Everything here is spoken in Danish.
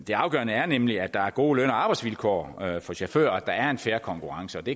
det afgørende er nemlig at der er gode løn og arbejdsvilkår for chauffører og at der er en fair konkurrence vi